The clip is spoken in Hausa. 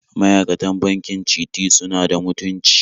Ma'aikatan bankin Citi suna da mutunci